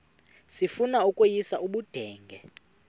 sifuna ukweyis ubudenge